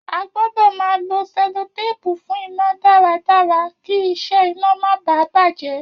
A gbọ́dọ̀ máa lo selotépù fún iná dára dára kí isẹ ina máa baà bàjé